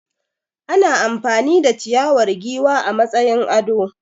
Ana amfani da ciyawar giwa a matsayin ado.